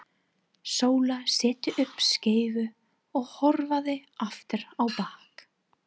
Sóla setti upp skeifu og hörfaði aftur á bak.